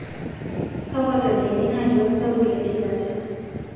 kakwa tabiani naati osabu le tipat